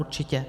Určitě.